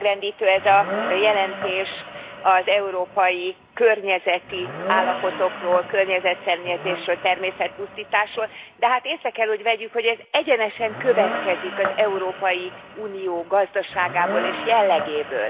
Megrendítő ez a jelentés az európai környezeti állapotokról, környezetszennyezésről, természetpusztításról, de hát észre kell, hogy vegyük, hogy ez egyenesen következik az Európai Unió gazdaságából és jellegéből.